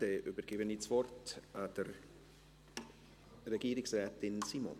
Dann übergebe ich das Wort Regierungsrätin Simon.